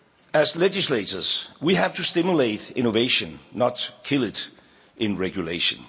As legislators, we have to stimulate innovation, not kill it in regulation.